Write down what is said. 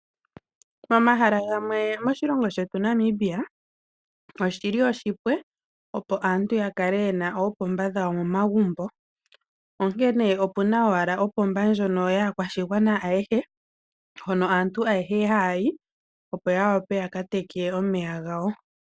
Momahala gamwe moshilongo shetu Namibia, oshili ompumbwe opo aantu yakale yena oopomba dhawo momagumbo, onkene opuna owala opomba ndjono kaakwashigwana ayehe, hono aantu ayehe haayi, opo ya wape ya ka teke omeya.